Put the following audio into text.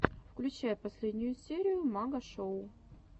включай последнюю серию магашоу